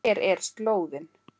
Hver er slóðin?